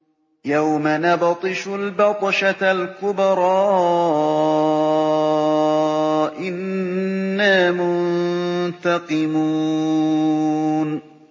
يَوْمَ نَبْطِشُ الْبَطْشَةَ الْكُبْرَىٰ إِنَّا مُنتَقِمُونَ